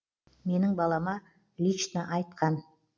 менің балама лично айтқан